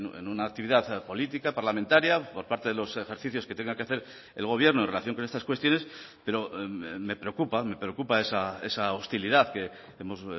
en una actividad política parlamentaria por parte de los ejercicios que tenga que hacer el gobierno en relación con estas cuestiones pero me preocupa me preocupa esa hostilidad que hemos